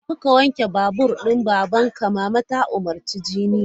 Jeka ka wanke babur din babanka! Mama ta umurci junior!